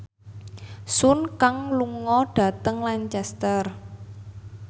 Sun Kang lunga dhateng Lancaster